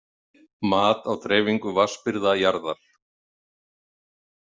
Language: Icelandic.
Mat á dreifingu vatnsbirgða jarðar.